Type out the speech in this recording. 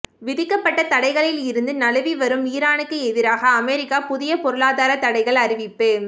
விதிக்கப்பட்ட தடைகளிலிருந்து நழுவி வரும் ஈரானுக்கு எதிராக அமெரிக்கா புதிய பொருளாதார தடைகள் அறிவிப்பு